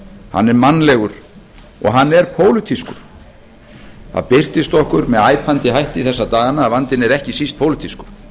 er mannlegur og hann er pólitískur það birtist okkur með æpandi hætti þessa dagana að vandinn er ekki síst pólitískur